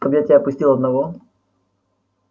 чтоб я тебя пустил одного